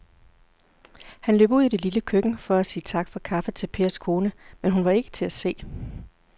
Han løb ud i det lille køkken for at sige tak for kaffe til Pers kone, men hun var ikke til at se.